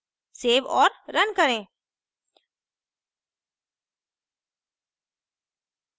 save और run करें